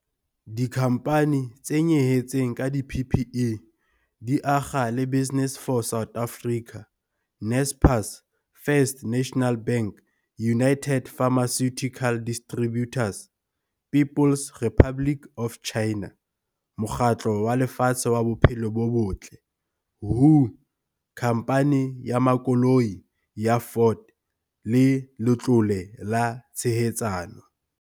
Dikhamphani tse nyehetseng ka di-PPE di akga le Business for South Africa, Naspers, First National Bank, United Pharmaceutical Distributors, People's Republic of China, Mokgatlo wa Lefatshe wa Bophelo bo Botle, WHO, Khamphani ya Makoloi ya Ford le Letlole la Tshehetsano.